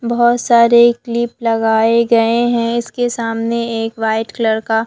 बहोत सारे क्लिप लगाए गए हैं इसके सामने एक व्हाइट कलर का--